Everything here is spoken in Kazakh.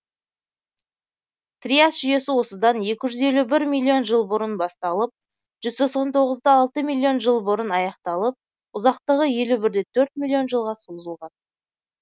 триас жүйесі осыдан екі жүз елу бір миллион жыл бұрын басталып жүз тоқсан тоғызда алты миллион жыл бұрын аяқталып ұзақтығы елу бірде төрт миллион жылға созылған